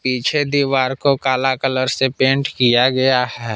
पीछे दीवार को काला कलर से पेंट किया गया है।